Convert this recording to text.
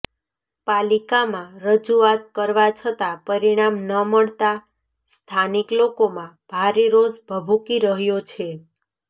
પાલિકામાં રજૂઆત કરવા છતાં પરિણામ ન મળતા સ્થાનિક લોકોમાં ભારે રોષ ભભૂકી રહ્યો છે